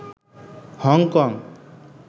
Hong Kong